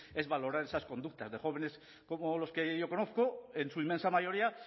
es valorar esas conductas de jóvenes como los que yo conozco en su inmensa mayoría